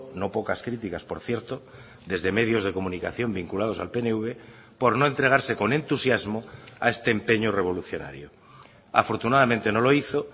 no pocas críticas por cierto desde medios de comunicación vinculados al pnv por no entregarse con entusiasmo a este empeño revolucionario afortunadamente no lo hizo